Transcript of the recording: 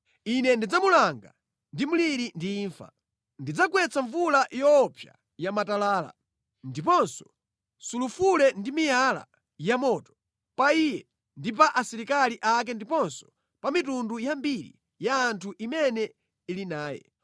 Ine ndidzamulanga ndi mliri ndi imfa. Ndidzagwetsa mvula yoopsa ya matalala, ndiponso sulufule ndi miyala ya moto pa iye ndi pa asilikali ake ndiponso pa mitundu yambiri ya anthu imene ili naye.